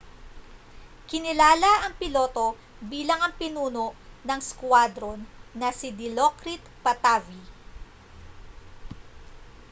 kinilala ang piloto bilang ang pinuno ng squadron na si dilokrit pattavee